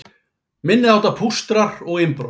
Minniháttar pústrar og innbrot